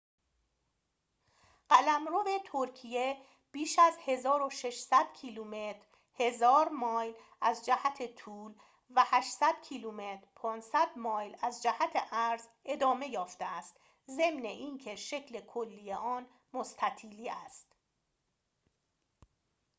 قلمرو ترکیه بیش از 1,600 کیلومتر 1,000 مایل از جهت طول و 800 کیلومتر 500 مایل از جهت عرض ادامه یافته است، ضمن اینکه شکل کلی آن مستطیلی است